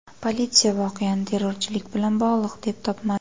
Politsiya voqeani terrorchilik bilan bog‘liq deb topmadi.